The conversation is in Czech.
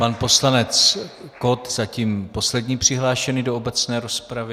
Pan poslanec Kott, zatím poslední přihlášený do obecné rozpravy.